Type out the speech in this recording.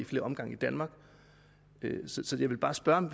flere omgange i danmark så jeg vil bare spørge om